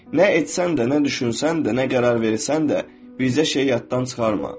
Nə etsən də, nə düşünsən də, nə qərar versən də, bircə şeyi yaddan çıxarma.